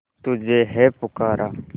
तुझे है पुकारा